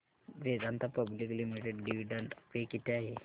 Vedanta public limited dividend pay किती आहे